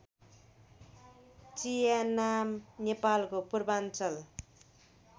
च्यानाम नेपालको पूर्वाञ्चल